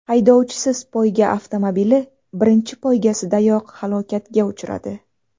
Haydovchisiz poyga avtomobili birinchi poygasidayoq halokatga uchradi.